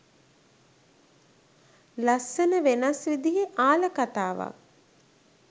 ලස්සන වෙනස් විදියෙ ආල කතාවක්